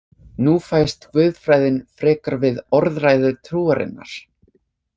Nú fæst guðfræðin frekar við orðræðu trúarinnar.